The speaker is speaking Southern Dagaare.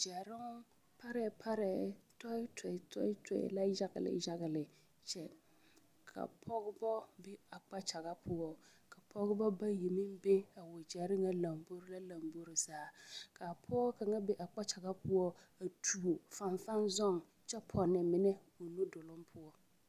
Gyɛroŋ parɛɛ parɛɛ tɔe tɔe la yagele yagele kyɛ ka pɔgebɔ be a kpakyaga poɔ ka Pɔgebɔ bayi meŋ be a wagyɛre ŋa lombori la lombori zaa ka a pɔge kaŋa be a kpakyaga poɔ a tuo fanfaŋ zɔŋ kyɛ pɔnne mine o nuduluŋ poɔ.